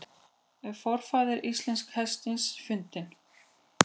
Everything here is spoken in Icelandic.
Er forfaðir íslenska hestsins fundinn?